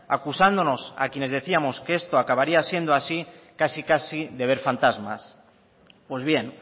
acusándonos a quienes decíamos que estos acabaría siendo así casi casi de ver fantasmas pues bien